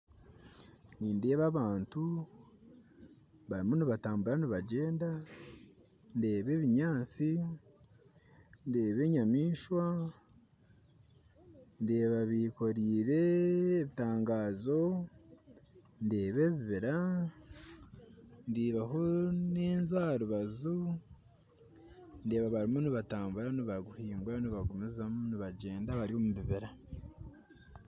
Nindeeba abantu barimu nibatambura nibagyenda ndeeba ebinyatsi ndeeba enyamaiswa ndeeba bekoreire ebitangazo ndeeba ebibira ndeebaho nenju. Aharubaju ndeeba bariyo nibatambura nibagyenda nibagumizamu omubibira